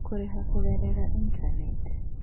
Kũrĩha Kũgerera Intaneti: